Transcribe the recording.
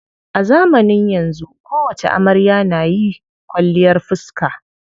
A zamanin yanzu kowacce amarya na yi kwalliyar fiska.